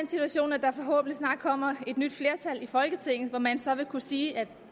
situation at der forhåbentlig snart kommer et nyt flertal i folketinget hvor man så vil kunne sige at